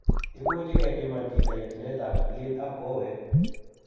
Imuche kepiman chito yetunet ab spleen ak kowet